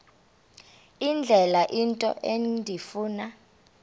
indlela into endifuna